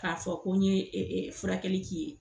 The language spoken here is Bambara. K'a fɔ ko n ye furakɛli k'i ye.